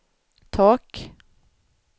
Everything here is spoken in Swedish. tak